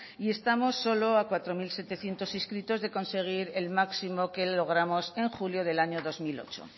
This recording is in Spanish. y estamos solo a cuatro mil setecientos inscritos de conseguir el máximo que logramos en julio del año dos mil ocho